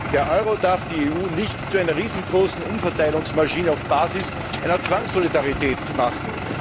Nein! Der Euro darf die EU nicht zu einer riesengroßen Umverteilungsmaschine auf Basis einer Zwangssolidarität machen.